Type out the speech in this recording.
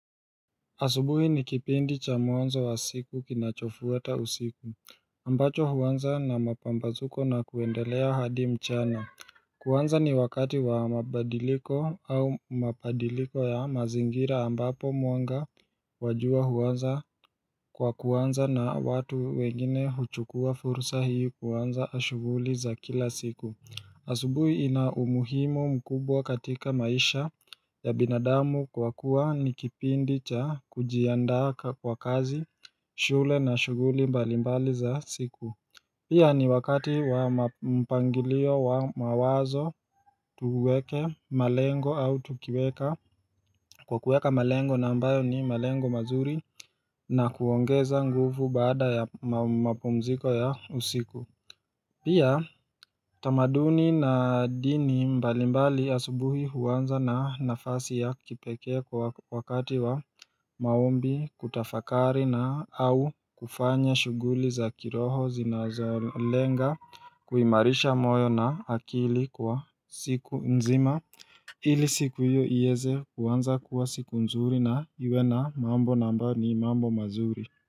Asubuhi nikipindi cha mwanzo wa siku kinachofuata usiku ambacho huanza na mapambazuko na kuendelea hadi mchana kuanza ni wakati wa mabadiliko au mabadiliko ya mazingira ambapo mwanga wa jua huanza kwa kuanza na watu wengine huchukua fursa hii kuanza shuguli za kila siku asubuhi ina umuhimu mkubwa katika maisha ya binadamu kwa kuwa nikipindi cha kujiandaa kwa kazi, shule na shuguli mbalimbali za siku Pia ni wakati wa mpangilio wa mawazo tuweke malengo au tukiweka Kwa kuweka malengo na ambayo ni malengo mazuri na kuongeza nguvu baada ya mapumziko ya usiku Pia tamaduni na dini mbalimbali asubuhi huanza na nafasi ya kipekee kwa wakati wa maombi kutafakari na au kufanya shuguli za kiroho zinazo lenga kuimarisha moyo na akili kwa siku nzima ili siku hiyo iweze kuanza kuwa siku nzuri na iwe na mambo na ambayo ni mambo mazuri.